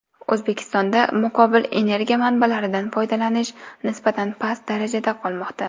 O‘zbekistonda muqobil energiya manbalaridan foydalanish nisbatan past darajada qolmoqda.